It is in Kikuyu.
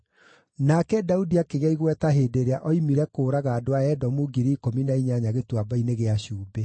Nake Daudi akĩgĩa igweta hĩndĩ ĩrĩa oimire kũũraga andũ a Edomu ngiri ikũmi na inyanya Gĩtuamba-inĩ gĩa Cumbĩ.